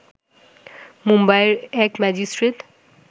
মুম্বাইয়ের এক ম্যাজিস্ট্রেট